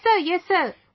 yes sir, yes sir